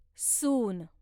सून